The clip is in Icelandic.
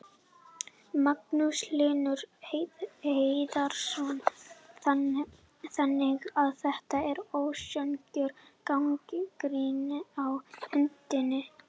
Magnús Hlynur Hreiðarsson: Þannig að þetta er ósanngjörn gagnrýni á hundinn?